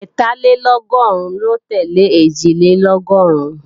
Ẹ́tàlélọ́gọ́rùn ló tẹ́lẹ̀ Ẹ̀jìlélọ́gọ́rùn